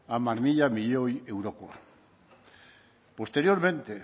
hamar mila milioi eurokoa posteriormente